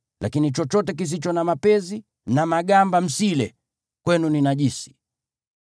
Lakini chochote kisicho na mapezi na magamba msile; kwenu ni najisi.